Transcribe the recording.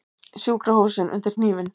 Sjúkrahúsin undir hnífinn